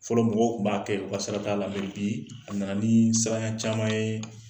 Fɔlɔ mɔgɔw tun b'a kɛ u ka saraka la bi, a nana nii siraɲa caman yee.